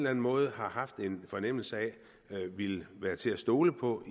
anden måde har haft en fornemmelse af ville være til at stole på